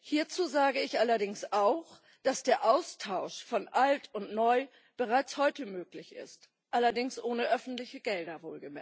Hierzu sage ich allerdings auch, dass der Austausch von Alt und Neu bereits heute möglich ist, allerdings wohlgemerkt ohne öffentliche Gelder.